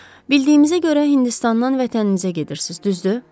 Bildiyimizə görə Hindistandan vətəninizə gedirsiz, düzdür?